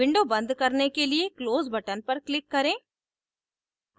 window बंद करने के लिए close button पर click करें